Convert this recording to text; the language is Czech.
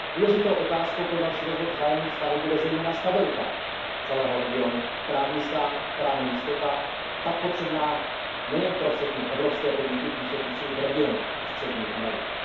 Důležitou otázkou pro další rozvoj vzájemných vztahů bude zejména stabilita celého regionu, právní stát a právní jistota, tak potřebná nejen pro všechny evropské podniky působící v regionu Střední Ameriky.